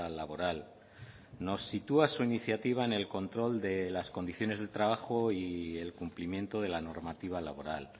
laboral nos sitúa su iniciativa en el control de las condiciones de trabajo y el cumplimiento de la normativa laboral